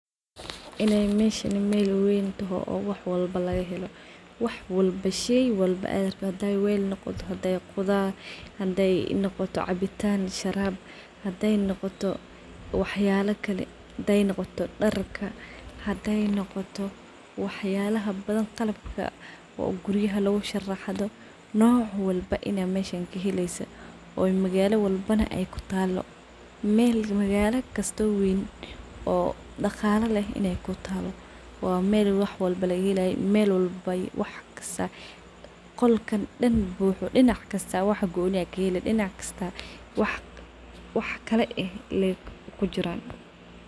Inay meshani mel weyn taho wax walbo laga helo , shey walbo ad rabtid , haday wel noqoto, haday qudar noqoto, haday dar taho, haday cabitan taho haday sharab taho malagala walba kutalaah , qolka buxo wax kaladuwan kaheli , dinac kasta wax kala eh kujiraan noc walbo in ad meshan kaheleyso magala walbo daqala leh lagahelay qolka dinac kasta buxo wax kala eh aa kujiraan.